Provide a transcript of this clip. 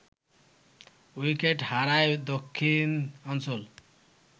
wicket হারায় দক্ষিণাঞ্চল